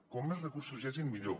com més recursos hi hagin millor